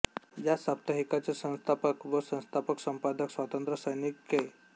या साप्ताहिकाचे सन्स्थापक व सन्स्थापक सम्पादक स्वातन्त्र सैनिक कै